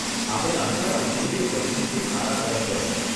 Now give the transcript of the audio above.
આપણે આશા રાખીએ કે પરિસ્થિતિ સારા તરફ વળે.